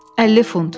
50 funt.